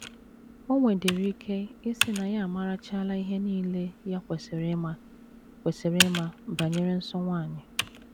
O nwedịrị ike ịsị na ya amarachaala ihe nile ya kwesịrị ịma kwesịrị ịma banyere nsọ nwanyị.